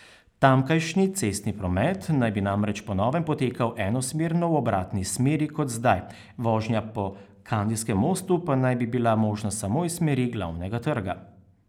Tamkajšnji cestni promet naj bi namreč po novem potekal enosmerno v obratni smeri kot zdaj, vožnja po Kandijskem mostu pa naj bi bila možna samo iz smeri Glavnega trga.